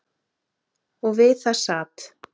Og við það sat.